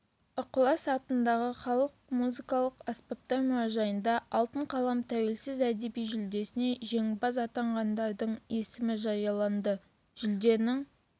ықылас атындағы халық музыкалық аспаптар мұражайында алтын қалам тәуелсіз әдеби жүлдесіне жеңімпаз атанғандардың есімі жарияланды жүлденің